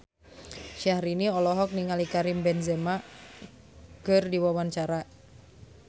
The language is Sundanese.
Syahrini olohok ningali Karim Benzema keur diwawancara